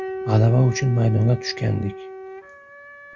G‘alaba uchun maydonga tushgandik.